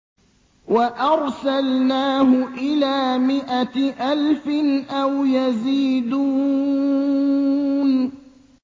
وَأَرْسَلْنَاهُ إِلَىٰ مِائَةِ أَلْفٍ أَوْ يَزِيدُونَ